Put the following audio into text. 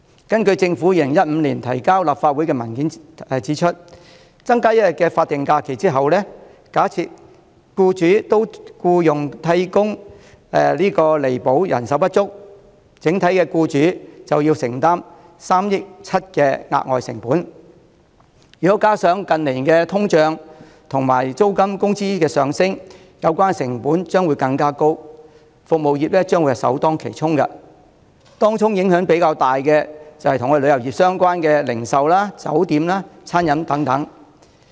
根據政府於2015年提交立法會的文件，增加1天法定假日後，假設僱主會聘用替工以彌補人手不足，整體僱主便要承擔3億 7,000 萬元的額外成本，如果加上近年通脹、租金及工資上升，有關的成本將會更高，服務業將會首當其衝，當中影響較大的便是與旅遊業相關的零售、酒店和餐飲業等。